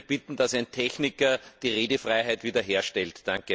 Ich würde bitten, dass ein Techniker die Redefreiheit wiederherstellt.